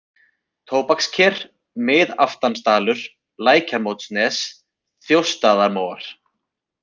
Tóbaksker, Miðaftansdalur, Lækjarmótanes, Þjóstaðamóar